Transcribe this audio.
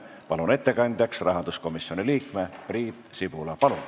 Palun ettekandjaks rahanduskomisjoni liikme Priit Sibula.